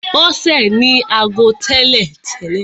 Bọ́sè ní ago tẹ́lè.